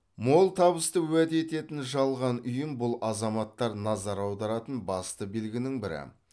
мол табысты уәде ететін жалған ұйым бұл азаматтар назар аударатын басты белгінің бірі